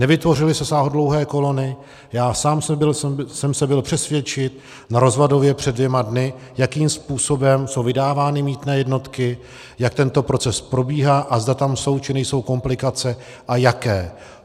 Nevytvořily se sáhodlouhé kolony, já sám jsem se byl přesvědčit na Rozvadově před dvěma dny, jakým způsobem jsou vydávány mýtné jednotky, jak tento proces probíhá a zda tam jsou, či nejsou komplikace a jaké.